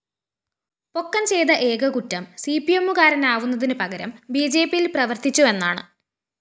പൊക്കന്‍ ചെയ്ത ഏക കുറ്റം സിപിഎമ്മുകാരനാവുന്നതിന് പകരം ബിജെപിയില്‍ പ്രവര്‍ത്തിച്ചുവെന്നാണ്